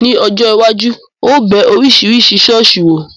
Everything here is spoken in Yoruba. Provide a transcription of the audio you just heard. Ní ọjọ́ iwájú, ó bẹ Oríṣiríṣi ṣọ̀ọ́sì wò.